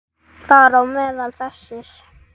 Þar á meðal þessir